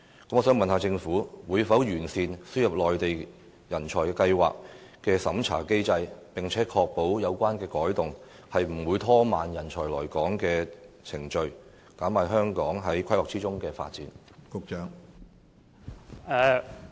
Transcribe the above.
我想問政府會否完善輸入計劃的審查機制，並確保有關的改動不會拖慢人才來港的程序，因而減慢香港在規劃中的發展？